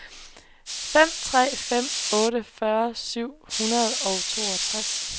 fem tre fem otte fyrre syv hundrede og toogtres